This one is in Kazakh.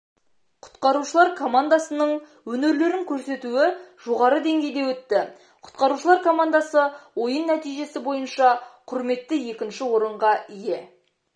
құтқарушылар командасының өнерлерін көрсетуі жоғары деңгейде өтті құтқарушылар командасы ойын нәтижесі бойынша құрметті екінші орынға ие